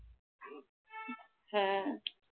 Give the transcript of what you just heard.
হ্যাঁ